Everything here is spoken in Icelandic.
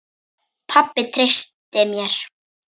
Pabbi treysti mér.